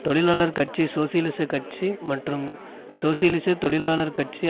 தொழிலாளர் கட்சி சோசியலிச கட்சி மற்றும் சோசியலிச தொழிலாளர் கட்சி